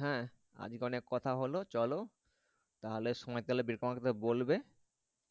হ্যাঁ আজ কে অনেক কথা হলো চলো তাহলে সময় পেলে দেখে আমাকে বলবে